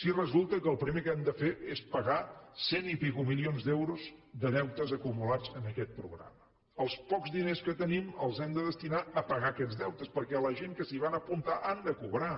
si resulta que el primer que hem de fer és pagar cent i escaig milions d’euros de deutes acumulats en aquest programa els pocs diners que tenim els hem de destinar a pagar aquests deutes perquè la gent que s’hi van apuntar han de cobrar